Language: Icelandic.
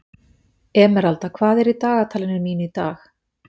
Emeralda, hvað er í dagatalinu mínu í dag?